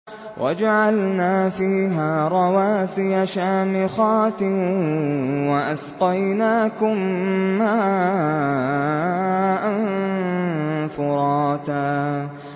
وَجَعَلْنَا فِيهَا رَوَاسِيَ شَامِخَاتٍ وَأَسْقَيْنَاكُم مَّاءً فُرَاتًا